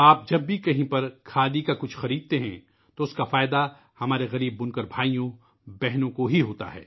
جب بھی آپ کہیں بھی کھادی کی کوئی چیز خریدتے ہیں تو اس سے ہمارے غریب بنکر بھائیوں اور بہنوں کا ہی فائدہ ہوتا ہے